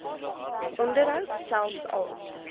onderhoud selfs al